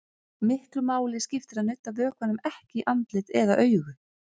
Miklu skiptir að nudda vökvanum ekki í andlit eða augu.